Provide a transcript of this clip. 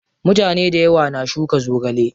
Mutane dayawa na shuka zogale.